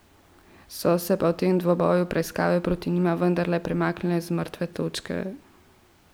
So se pa v tem obdobju preiskave proti njima vendarle premaknile z mrtve točke.